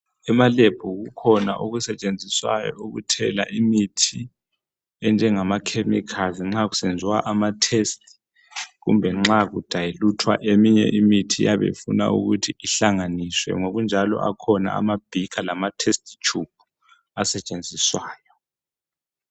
ema lab kukhona okusetshenziswayo ukuthela imithi enjengama chemicals nxa kusenziwa ama test kumbe nxa ku dayiluthwa eminye imithi eyabe ifuna ukuthi ihlanganiswe ngokunjalo akhona ama beaker lama test tubes asetshenzisayo